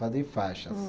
Fazer faixas.